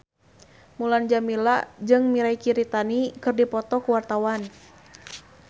Mulan Jameela jeung Mirei Kiritani keur dipoto ku wartawan